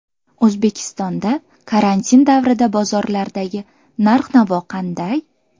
O‘zbekistonda karantin davrida bozorlardagi narx-navo qanday?.